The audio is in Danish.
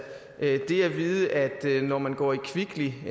vide at når man går i kvickly